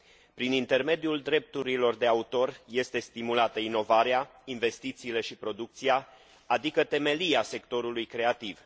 Prin intermediul drepturilor de autor, sunt stimulate inovarea, investițiile și producția, adică temelia sectorului creativ.